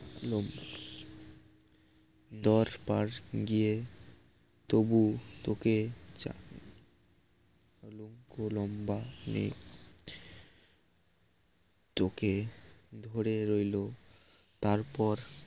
দরবার গিয়ে তবু তোকে চান লম্বা নেই তোকে ধরে রইল তারপর